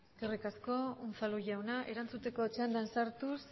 eskerrik asko unzalu jauna erantzuteko txandan sartuz